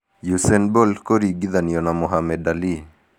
Usain Bolt kũringithanio na Muhammed Ali